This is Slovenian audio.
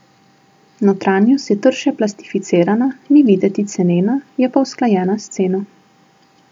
Notranjost je trše plastificirana, ni videti cenena, je pa usklajena s ceno.